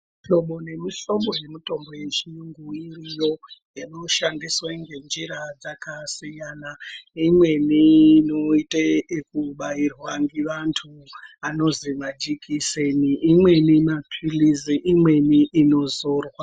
Mihlobo ngemihlobo yemitombo yechiyungu iiriyo inoshandiswa ngenjira dzakasiyana, imweni inoite yekubairwa vantu anozwi majikiseni, mweni maphilizi, imweni inozorwa.